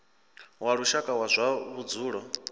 wa lushaka wa zwa vhudzulo